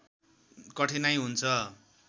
कठिनाइ हुन्छ